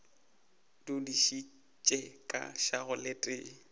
dudišitše ka šago le tee